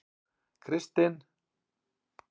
Kristin